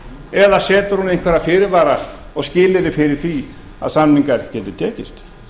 eða setur hún einhverja fyrirvara og skilyrði fyrir því að samningar geti tekist